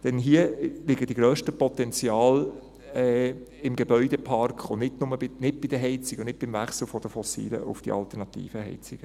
Denn hier liegen die grössten Potenziale im Gebäudepark und nicht nur in der Heizung und nicht beim Wechsel von den fossilen zu den alternativen Heizungen.